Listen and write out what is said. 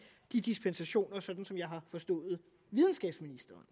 de dispensationer sådan som jeg har forstået videnskabsministeren